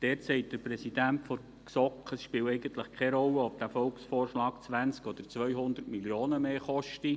Dort sagt der Präsident der GSoK, es spiele eigentlich keine Rolle, ob dieser Volksvorschlag 20 oder 200 Mio. Franken mehr koste.